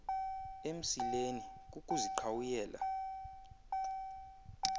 emsileni kukuziqhwayela ukhwembe